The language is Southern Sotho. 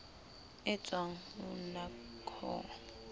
e tswang ho nac ho